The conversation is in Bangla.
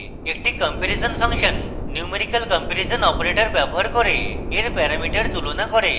একটি comparison function numerical comparison operator ব্যবহার এর প্যারামিটার তুলনা করবে